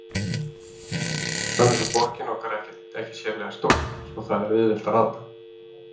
Annars er borgin okkar ekki sérlega stór, svo það er auðvelt að rata.